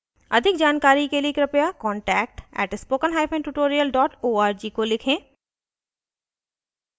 अधिक जानकारी के लिए कृपया contact @spokentutorial org को लिखें